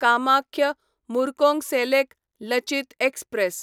Kamakhya Murkongselek Lachit express